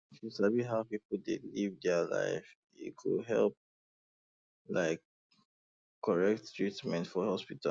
if you sabi how people dey live their life e dey help like correct treatment for hospital